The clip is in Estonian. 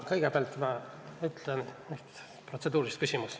Kõigepealt teen selgeks protseduurilise küsimuse.